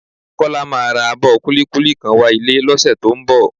Kọ́lá máa ra abọ kúlíkúlí kan wá ilé lọ́sẹ̀ tó ń bọ̀